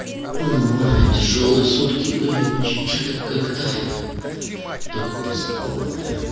ну тяжёлые сутки были очень что-то как-то только поспал